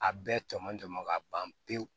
A bɛɛ tɔmɔnjɔn ka ban pewu